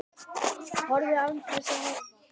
Horfðu. án þess að horfa.